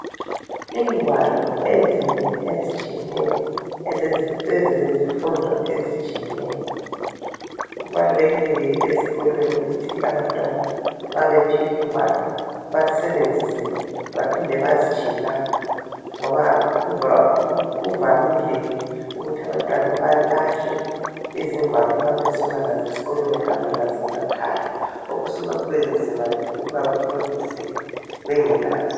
Ingwalo ezinengi ezitshiyeneyo ezezifundo ezitshiyeneyo. Kubalulekile ke ezikolweni ukuthi abantwana ma bephiwa ingwalo basebenzise baphinde bazitshiye lapho ngoba kuvamile ke ukuthi abantwana balahle izingwalo ma besuka lazo esikolweni behamba lazo emakhaya. Okusuka kubenzima ukuthi bafundise bengelazo.